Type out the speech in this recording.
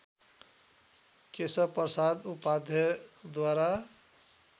Keshav Prasad उपाध्यायद्वारा